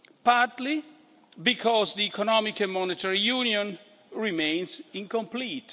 partly, it is because the Economic and Monetary Union remains incomplete.